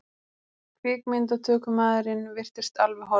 Kvikmyndatökumaðurinn virtist alveg horfinn.